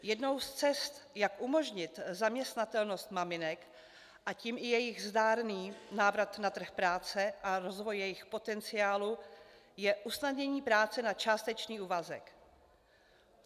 Jednou z cest, jak umožnit zaměstnatelnost maminek, a tím i jejich zdárný návrat na trh práce a rozvoj jejich potenciálu, je usnadnění práce na částečný úvazek.